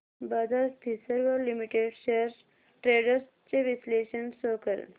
Bajaj Finserv limited shares trends चे विश्लेषण show कर